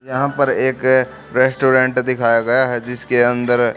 यहां पर एक रेस्टोरेंट दिखाया गया है जिसके अंदर--